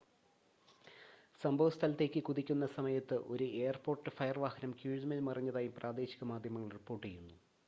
സംഭവ സ്ഥലത്തേക്ക് കുതിക്കുന്ന സമയത്ത് ഒരു എയർപോർട്ട് ഫയർ വാഹനം കീഴ്‌മേൽ മറിഞ്ഞതായി പ്രാദേശിക മാധ്യമങ്ങൾ റിപ്പോർട്ട് ചെയ്യുന്നു